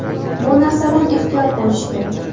Bu narsadan ehtiyot bo‘lish kerak.